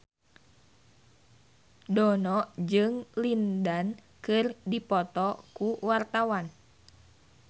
Dono jeung Lin Dan keur dipoto ku wartawan